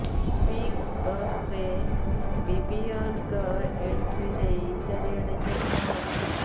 big ବସରେ ବିବିୟନଙ୍କ entry ନେଇ ଚାରିଆଡେ ଚର୍ଚ୍ଚା ଚାଲିଛି